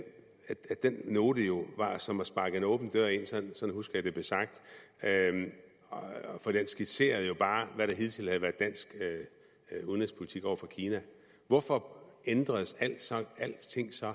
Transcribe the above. den note jo var som at sparke en åben dør ind sådan husker jeg det blev sagt for den skitserede jo bare hvad der hidtil havde været dansk udenrigspolitik over for kina hvorfor ændrede alting sig